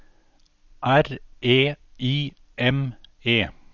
R E I M E